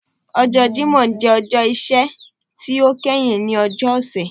Ọjọ́ Jímọ̀ jẹ ọjọ́ iṣẹ́ ti o kẹhin ninu ọjọ́ ọ̀sẹ̀